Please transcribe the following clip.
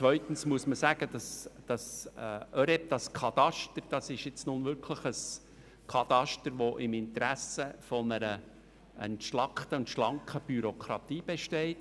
Zweitens muss man sagen, dass das ÖREB-Kataster nun wirklich ein Kataster ist, welches im Interesse einer entschlackten und schlanken Bürokratie liegt.